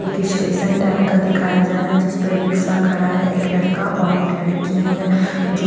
एक station type का दिखाया जा रहा है जिसपर रिक्शा खड़ा है एक लड़का और एक लड़की है जो--